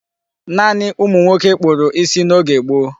Naanị ụmụnwoke kpụrụ isi n'oge gboo.